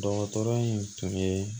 Dɔgɔtɔrɔ in tun ye